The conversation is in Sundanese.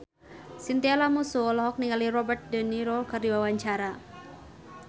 Chintya Lamusu olohok ningali Robert de Niro keur diwawancara